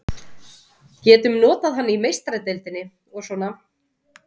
Getum notað hann í Meistaradeildinni og svona.